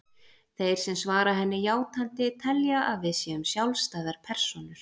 Þeir sem svara henni játandi telja að við séum sjálfstæðar persónur.